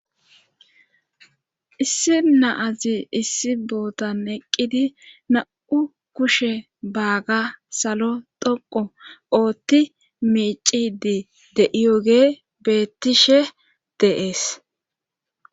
issi naazi issi bootan eqqidi na7u kushe baaga salo dhoqo oothti miicidi deiyoge beettishe deees